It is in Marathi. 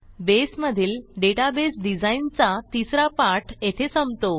बेसमधील डेटाबेस डिझाईनचा तिसरा पाठ येथे संपतो